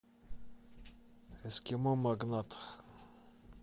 эскимо магнат